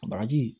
Bagaji